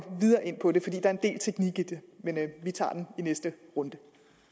videre ind på det der er del teknik i det men vi tager det i næste runde